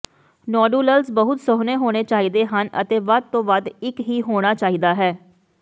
ਨੋਡੁਲਲਜ਼ ਬਹੁਤ ਸੁਹਣੇ ਹੋਣੇ ਚਾਹੀਦੇ ਹਨ ਅਤੇ ਵੱਧ ਤੋਂ ਵੱਧ ਇੱਕ ਹੀ ਹੋਣਾ ਚਾਹੀਦਾ ਹੈ